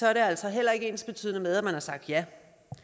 er det altså heller ikke ensbetydende med at man har sagt ja